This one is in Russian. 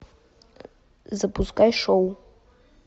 запускай шоу